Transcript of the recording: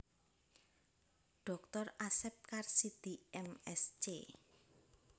Dr Asep Karsidi M Sc